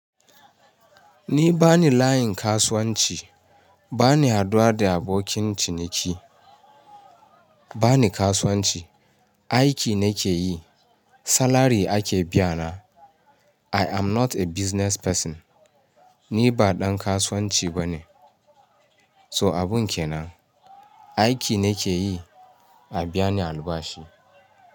Ni bani layin kasuwanci, bani haɗuwa da abokin ciniki, bani kasuwanci, aiki nake yi, salary ake biyana. I am not a business person, ni ba ɗan kasuwanci bane. So abun kenan, aiki nake yi, a biya ni albashi.